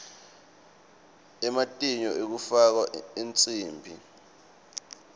ematinyo ekufakwa ensimbi